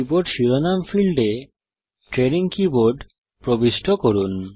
keyboard শিরোনাম ফীল্ডে training keyboard প্রবিষ্ট করুন